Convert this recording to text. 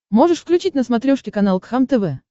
можешь включить на смотрешке канал кхлм тв